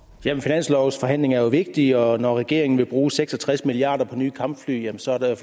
finanslovsforhandlinger er jo vigtige og når regeringen vil bruge seks og tres milliard kroner på nye kampfly så er der i